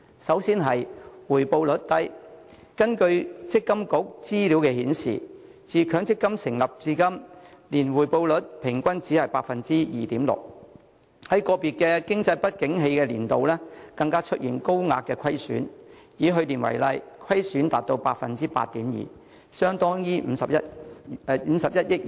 根據強制性公積金計劃管理局的資料，自強積金成立至今，年回報率平均只有 2.6%， 在個別經濟不景年度更出現高額虧損，以去年為例，虧損便達到 8.2%， 相當於51億元。